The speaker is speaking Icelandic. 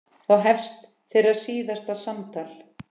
Þá hefst þeirra síðasta samtal.